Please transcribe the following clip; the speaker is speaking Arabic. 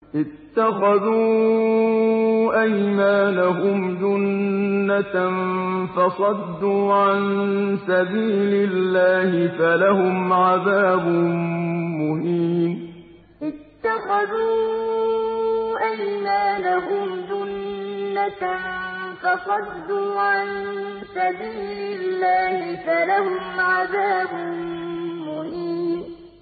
اتَّخَذُوا أَيْمَانَهُمْ جُنَّةً فَصَدُّوا عَن سَبِيلِ اللَّهِ فَلَهُمْ عَذَابٌ مُّهِينٌ اتَّخَذُوا أَيْمَانَهُمْ جُنَّةً فَصَدُّوا عَن سَبِيلِ اللَّهِ فَلَهُمْ عَذَابٌ مُّهِينٌ